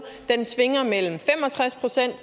mellem fem og tres procent